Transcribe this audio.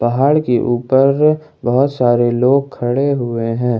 पहाड़ के ऊपर बहुत सारे लोग खड़े हुए हैं।